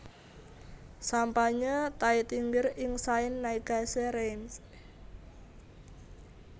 Sampanye Taittinger ing Saint Nicaise Reims